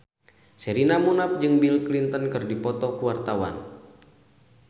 Sherina Munaf jeung Bill Clinton keur dipoto ku wartawan